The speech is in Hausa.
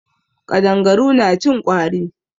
Ƙadangaru na cin ƙwari.